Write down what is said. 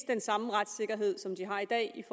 den samme retssikkerhed som de har i dag